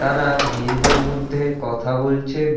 তারা নিজেদের মধ্যে কথা বলছেন।